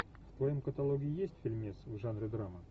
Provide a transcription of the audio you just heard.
в твоем каталоге есть фильмец в жанре драма